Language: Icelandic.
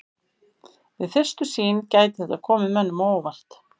Við fyrstu sýn gæti þetta komið mönnum á óvart.